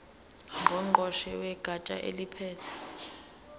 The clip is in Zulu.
ngqongqoshe wegatsha eliphethe